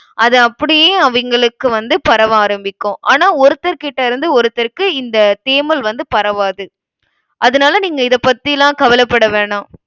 அதை அப்படியே, அவிங்களுக்கு வந்து பரவ ஆரம்பிக்கும். ஆனா, ஒருத்தர் கிட்ட இருந்து ஒருத்தர்க்கு இந்த தேமல் வந்து பரவாது. அதனால, நீங்க இதை பத்திலாம் கவலைப்பட வேணாம்